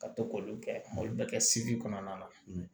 Ka to k'olu kɛ olu bɛɛ kɛ sigi kɔnɔna na